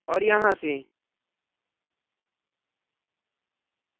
और यहाँ से